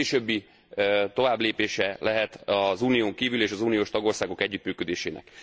Ez későbbi továbblépése lehet az Unión kívüli és az uniós tagországok együttműködésének.